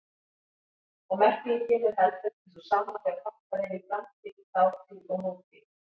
Og merkingin er heldur ekki sú sama þegar hoppað er í framtíð, þátíð og nútíð.